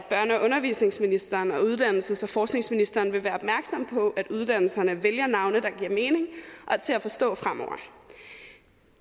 undervisningsministeren og uddannelses og forskningsministeren vil være opmærksomme på at uddannelserne vælger navne der giver mening og er til at forstå fremover